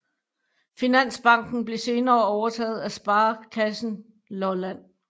Finansbanken blev senere overtaget af Sparekassen Lolland